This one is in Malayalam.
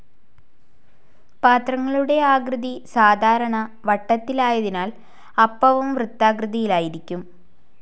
പാത്രങ്ങളുടെ ആകൃതി സാധാരണ വട്ടത്തിലായതിനാൽ അപ്പവും വൃത്താകൃതിയിലായിരിക്കും.